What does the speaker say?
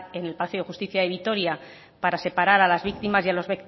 el palacio de justicia de vitoria para separar a las víctimas y a los